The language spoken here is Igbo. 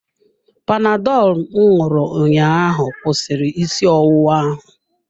Panadọlụ m ṅụrụ ụnyaahụ kwụsịrị isi ọwụwa ahụ.